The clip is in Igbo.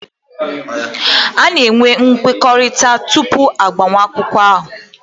A na-eme nkwekọrịta tupu agbamakwụkwọ ahụ